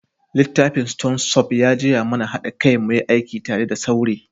Littafin stone soup ya jiya mana hada kai muyi aiki tare da saure.